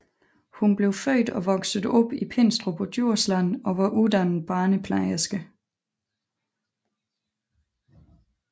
Hun blev født og voksede op i Pindstrup på Djursland og var uddannet barneplejerske